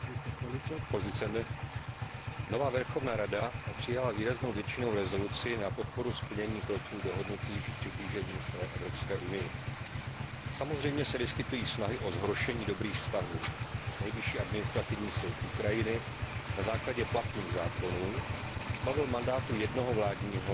Vážený pane předsedající, nová Verchovná rada přijala výraznou většinou rezoluci na podporu splnění kroků dohodnutých k přiblížení se Evropské unii. Samozřejmě se vyskytují snahy o zhoršení dobrých vztahů. Nejvyšší administrativní soud Ukrajiny na základě platných zákonů zbavil mandátu jednoho vládního